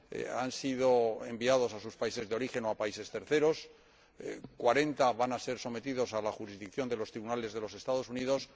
han sido enviados a sus países de origen o a países terceros y cuarenta van a ser sometidos a la jurisdicción de los tribunales de los Estados Unidos.